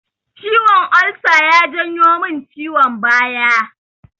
Ciwon ulsa ya janyo min ciwon baya